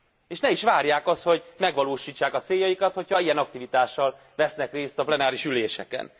És ne is várják azt, hogy megvalósítsák a céljaikat, hogyha ilyen aktivitással vesznek részt a plenáris üléseken.